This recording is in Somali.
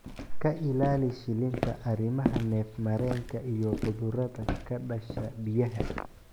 Ka ilaali shilinta, arrimaha neef-mareenka iyo cudurrada ka dhasha biyaha.